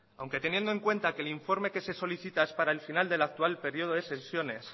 aunque teniendo en cuenta que el informe que se solicita es para el final del actual periodo de sesiones